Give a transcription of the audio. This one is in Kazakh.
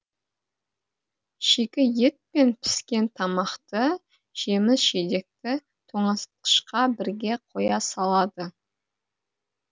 шикі ет пен піскен тамақты жеміс жидекті тоңазытқышқа бірге қоя салады